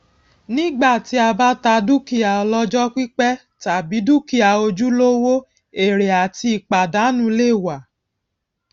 nígbà tí a bá ta dúkìá ọlọjọ pípẹ tàbí dúkìá ojúlówó ère àti ìpàdánù lè wà